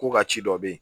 Ko ka ci dɔ bɛ yen